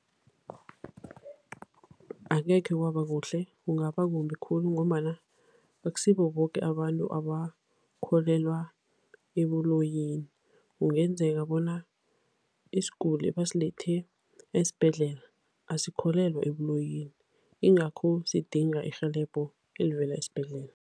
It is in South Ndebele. Angekhe kwabakuhle, kungaba kumbi khulu ngombana akusibo boke abantu abakholelwa ebuloyini. Kungenzeka bona isiguli ebasilethe esibhedlela asikholelwa ebuloyini, yingakho sidinga irhelebho elivela esibhedlela.